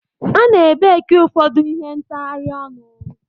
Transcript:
A ne baki ụfọdụ ihe ntghari onu.